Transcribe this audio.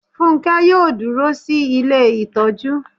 Fúnkẹ́ yóò dúró sí ilé ìtọ́jú